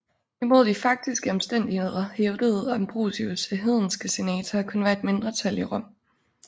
Imod de faktiske omstændigheder hævdede Ambrosius at hedenske senatorer kun var et mindretal i Rom